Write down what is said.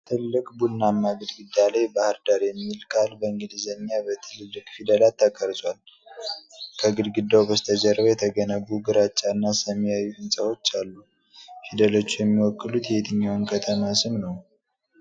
ትልቅ ቡናማ ግድግዳ ላይ "ባህር ዳር" የሚል ቃል በእንግሊዝኛ በትልልቅ ፊደላት ተቀርጿል። ከግድግዳው በስተጀርባ የተገነቡ ግራጫና ሰማያዊ ሕንጻዎች አሉ። ፊደሎቹ የሚወክሉት የየትኛዋን ከተማ ስም ነው?